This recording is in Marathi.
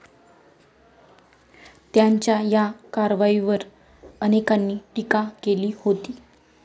त्यांच्या या कारवाईवर अनेकांनी टीका केली होती.